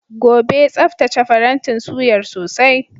Gobe, tsaftace farantin suyar sosai.